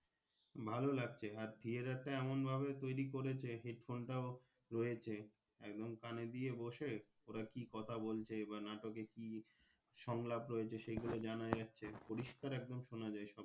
ভালো লাগছে আর Theatre টা এমন ভাবে তৌরি করেছে Head Phone টাও রয়েছে একদম কানে দিয়ে বসে ওরা কি কথা বলছে বা নাটকে কি সংলাপ রয়েছে সেগুলো জানা যাচ্ছে পরিষ্কার একদম সোনা যাই সবকিছু।